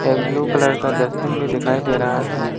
Blue colour का dustbin दिन में दिखाई दे रहा है।